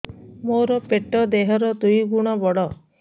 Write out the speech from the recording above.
ମୋର ପେଟ ଦେହ ର ଦୁଇ ଗୁଣ ବଡ